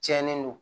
Tiɲɛnen don